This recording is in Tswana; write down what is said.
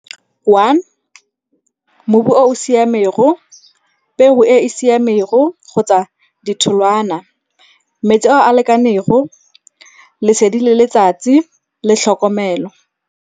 One, mobu o o siamego, peo e e siamego kgotsa ditholwana. Metsi ao a lekanego, lesedi le letsatsi, le tlhokomelo.